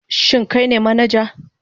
Shin kai ne manaja?